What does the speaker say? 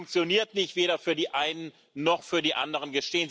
Sie funktioniert nicht weder für die einen noch für die anderen.